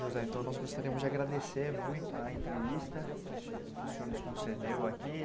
José, então nós gostaríamos de agradecer muito a entrevista que o senhor nos concedeu aqui.